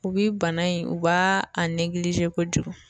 U bi bana in u b'a a negilizi kojugu